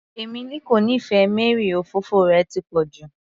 Emily kò nífẹẹ Mary, òfófó rẹ̀ ti pọ̀ jù